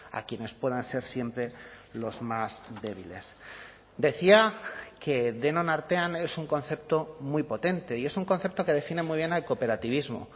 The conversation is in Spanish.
a quienes puedan ser siempre los más débiles decía que denon artean es un concepto muy potente y es un concepto que define muy bien al cooperativismo